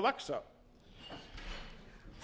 að vaxa